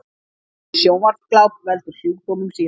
Of mikið sjónvarpsgláp veldur sjúkdómum síðar